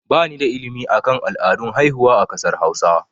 Ba ni da ilimi akan al'adun haihuwa a kasar hausa